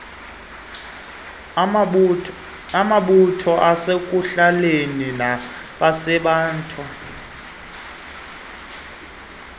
amabutho asekuhlaleni nabanebango